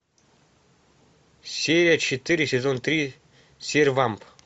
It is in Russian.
серия четыре сезон три сервамп